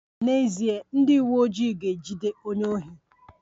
N'ezie, ndị uweojii ga-ejide onye ohi